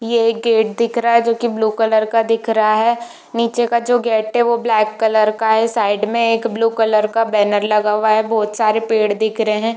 ये एक गेट दिख रहा है जो की ब्लू कलर का दिख रहा है नीचे का जो गेट है वो ब्लैक कलर का है साइड में एक ब्लू कलर का बैनर लगा हुआ है बहुत सारे पेड़ दिख रहे है।